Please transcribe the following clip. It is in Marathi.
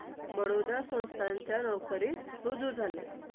खाण्यापिण्याचे किंवा उद्योग धंदयाचे खूप मोठे नुकसान झाले.